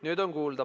Nüüd on kuulda.